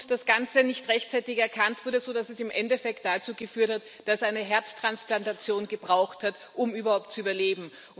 das Ganze wurde nicht rechtzeitig erkannt, sodass es am Ende dazu geführt hat, dass er eine Herztransplantation gebraucht hat, um überhaupt zu überleben.